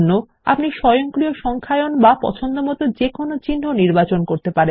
আপনি স্বয়ংক্রিয় সংখ্যায়ন বা পছন্দমতো কোনো চিহ্ন নির্বাচন করতে পারেন